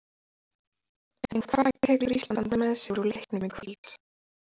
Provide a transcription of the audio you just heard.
En hvað tekur Ísland með sér úr leiknum í kvöld?